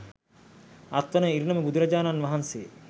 අත්වන ඉරණම බුදුරජාණන් වහන්සේ